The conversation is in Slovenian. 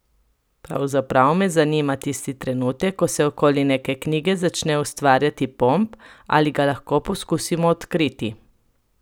Pravzaprav me zanima tisti trenutek, ko se okoli neke knjige začne ustvarjati pomp ali ga lahko poskusimo odkriti?